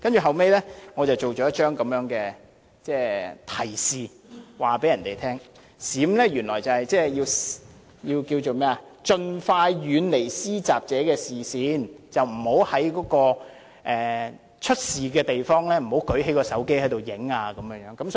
後來我製作了一張提示，告訴別人，原來"閃"是盡快遠離施襲者的視線，不要在發生事故的地方舉起手提電話拍照。